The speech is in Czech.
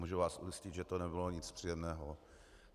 Můžu vás ujistit, že to nebylo nic příjemného.